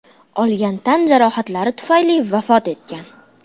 olgan tan jarohatlari tufayli vafot etgan.